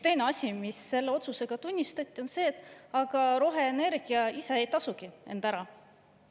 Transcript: Teine asi, mida selle otsusega tunnistati, on see, et aga roheenergia ise ei tasugi end ära.